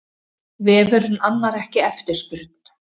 Vefurinn annar ekki eftirspurn